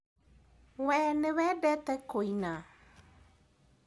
Wee nĩwendete kũina?